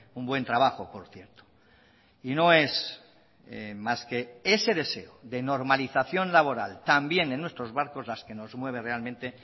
un buen trabajo por cierto y no es más que ese deseo de normalización laboral también en nuestros barcos las que nos mueve realmente